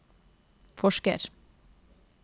forsker